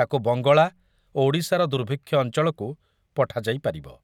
ତାକୁ ବଙ୍ଗଳା ଓ ଓଡ଼ିଶାର ଦୁର୍ଭିକ୍ଷ ଅଞ୍ଚଳକୁ ପଠାଯାଇ ପାରିବ।